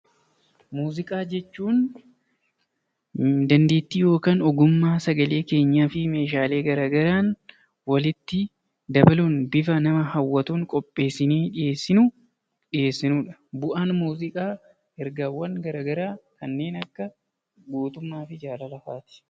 Muuziqaa jechuun dandeettii yookaan ogummaa sagalee keenyaa fi meeshaalee garaagaraan walitti dabaluun bifa nama hawwatuun qopheessinee dhiyeessinudha. Bu'aan muuziqaa ergaawwan garaagaraa kanneen akka gootummaa fi jaalala fa'aati.